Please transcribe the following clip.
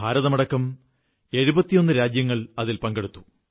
ഇന്ത്യയടക്കം 71 രാജ്യങ്ങൾ അതിൽ പങ്കെടുത്തു